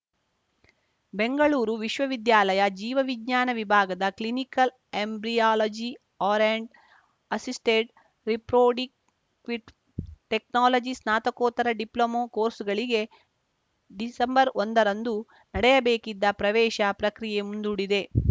ಬೆಂಗಳೂರು ವಿಶ್ವವಿದ್ಯಾಲಯ ಜೀವ ವಿಜ್ಞಾನ ವಿಭಾಗದ clinical embryology and assisted reproductive technology ಸ್ನಾತಕೋತ್ತರ ಡಿಪ್ಲೊಮಾ ಕೋರ್ಸ್‌ಗಳಿಗೆ ಡಿಸೆಂಬರ್ ಒಂದರಂದು ನಡೆಯಬೇಕಿದ್ದ ಪ್ರವೇಶ ಪ್ರಕ್ರಿಯೆ ಮುಂದೂಡಿದೆ